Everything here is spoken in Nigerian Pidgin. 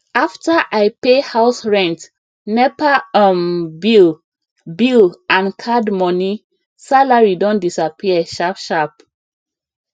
after i pay house rent nepa um bill bill and card money salary don disappear sharp sharp